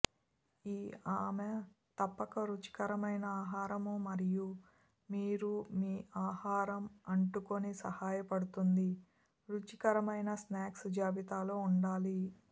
ఈ ఆమె తప్పక రుచికరమైన ఆహారం మరియు మీరు మీ ఆహారం అంటుకొని సహాయపడుతుంది రుచికరమైన స్నాక్స్ జాబితా ఉండాలి